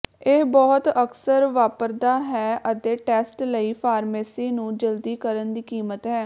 ਇਹ ਬਹੁਤ ਅਕਸਰ ਵਾਪਰਦਾ ਹੈ ਅਤੇ ਟੈਸਟ ਲਈ ਫਾਰਮੇਸੀ ਨੂੰ ਜਲਦੀ ਕਰਨ ਦੀ ਕੀਮਤ ਹੈ